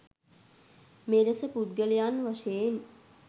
මෙලෙස පුද්ගලයන් වශයෙන්